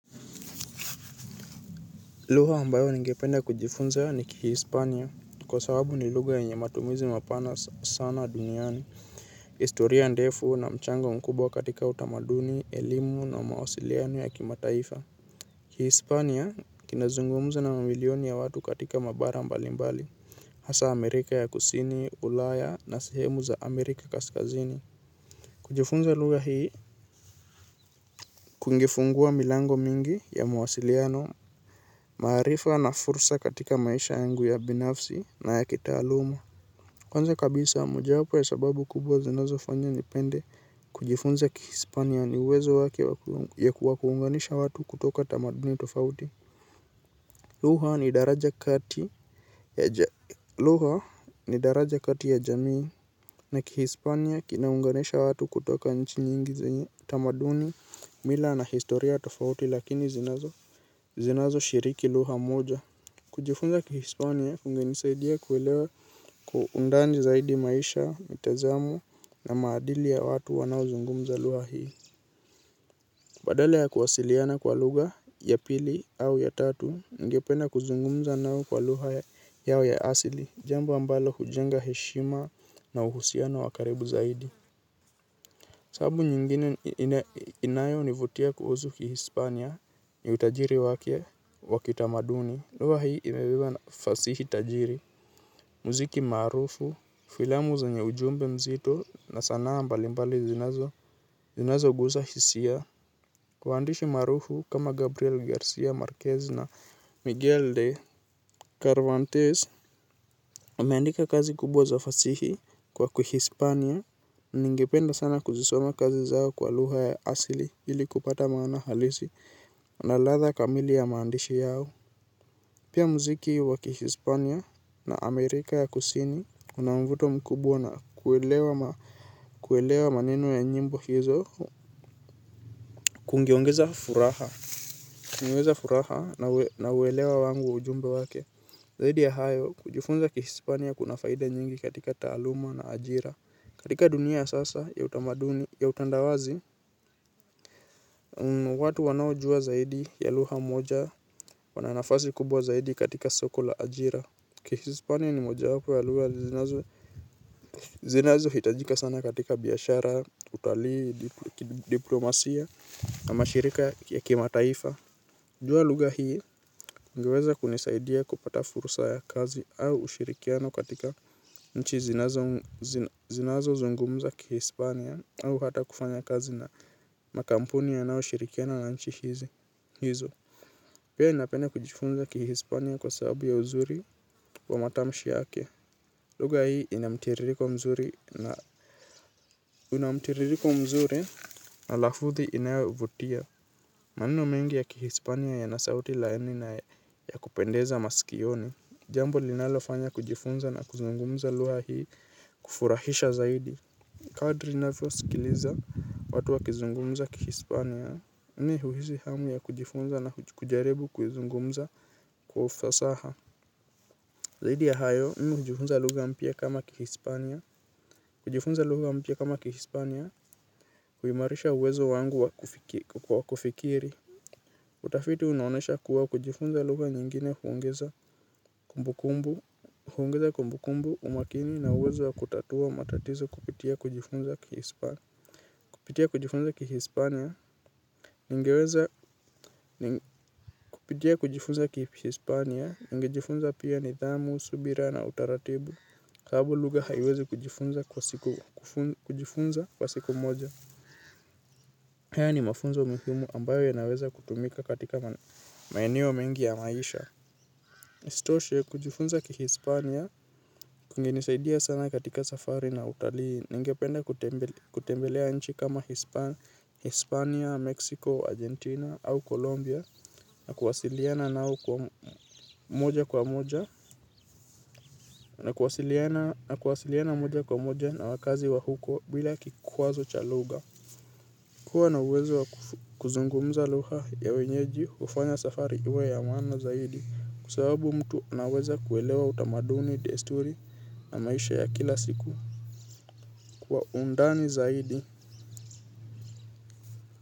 Lugha ambayo ningependa kujifunza ni kihispania kwa sababu ni lugha yenye matumizi mapana sana duniani. Historia ndefu na mchango mkubwa katika utamaduni, elimu na mawasiliano ya kimataifa. Kihispania kinazungumuzwa na mamilioni ya watu katika mabara mbalimbali. Hasa Amerika ya kusini, ulaya na sehemu za Amerika kaskazini. Kujifunza lugha hii kungefungua milango mingi ya mawasiliano maarifa na fursa katika maisha yangu ya binafsi na ya kitaluma. Kwanza kabisa moja yapo ya sababu kubwa zinazo fanya nipende. Kujifunza kihispania niwezo wake ya kuwakuunganisha watu kutoka tamaduni tofauti. Luha ni daraja kati ya jamii na kihispania kinaunganisha watu kutoka nchi nyingi zenye tamaduni mila na historia tofauti lakini zinazo shiriki luha moja. Kujifunza kihispania kungenisaidia kuelewa kwa undani zaidi maisha mitazamo na maadili ya watu wanao zungumza luha hii. Badala ya kuwasiliana kwa lugha ya pili au ya tatu ningependa kuzungumza nao kwa luha yao ya asili. Jambo ambalo hujenga heshima na uhusiano wakaribu zaidi. Sababu nyingine inayo nivutia kuhusu kihispania ni utajiri wake wakitamaduni. Luha hii imebiba fasihi tajiri, muziki maarufu, filamu zenye ujumbe mzito na saana mbali mbali zinazo guza hisia. Wandishi marufu kama Gabriel Garcia Marquez na Miguel de Carvantes, wameandika kazi kubwa fasihi kwa kuhispania, ningependa sana kuzisoma kazi zao kwa luha ya asili ili kupata maana halisi na latha kamili ya maandishi yao. Pia muziki wa kihispania na Amerika ya kusini una mvuto mkubwa na kuelewa maneno ya njimbo hizo. Kungeongeza furaha. Kungeongeza furaha na uwelewa wangu wa ujumbe wake. Zaidi ya hayo, kujifunza kihispania kuna faida nyingi katika taaluma na ajira. Katika dunia ya sasa ya utamaduni ya utandawazi, watu wanaojua zaidi ya luha moja wana nafasi kubwa zaidi katika soko la ajira. Kihispania ni moja wapo ya luha zinazo hitajika sana katika biashara, utali, kidiplomasia, ama shirika ya kimataifa. Jua lugha hii ingeweza kunisaidia kupata fursa ya kazi au ushirikiano katika nchi zinazo zinazo zungumza kihispania au hata kufanya kazi na makampuni yanao shirikiano na nchi hizo. Pia napenda kujifunza kihispania kwa sababu ya uzuri wa matamshi yake. Lugha hii ina mtiririko mzuri na unamtiririko mzuri na lafuthi inayovutia. Maneno mengi ya kihispania yana sauti laini na ya kupendeza masikioni. Jambo linalo fanya kujifunza na kuzungumza luha hii kufurahisha zaidi. Kadri navyo sikiliza watu wa kizungumza kihispania mimi huhisi hamu ya kujifunza na kujaribu kuzungumza kwa ufasaha. Zahidi ya hayo, mimi kujifunza lugha mpya kama kihispania kujifunza lugha mpya kama kihispania kuimarisha uwezo wangu wakufikiri. Utafiti unaonyesha kuwa kujifunza lugha nyingine huongeza huongeza kumbukumbu umakini na uwezo wa kutatua matatizo kupitia kujifunza kihispania. Kupitia kujifunza kihispania ningeweza kupitia kujifunza kihispania. Ningejifunza pia nidhamu, subira na utaratibu. Kabo lugha haiwezi kujifunza kwa siku kujifunza kwa siku moja. Haya ni mafunzo mihumu ambayo yanaweza kutumika katika maeneo mengi ya maisha. Istoshe kujifunza kihispania kungenisaidia sana katika safari na utalii. Ningependa kutembelea nchi kama Hispania, Mexico, Argentina au Colombia Na kuwasiliana nao kwa moja kwa moja na wakazi wa huko bila kikwazo cha lugha. Kuwa na uwezo wa kuzungumza lugha ya wenyeji hufanya safari iwe ya maana zaidi. Kwa sababu mtu anaweza kuelewa utamaduni desturi na maisha ya kila siku. Kwa undani zaidi.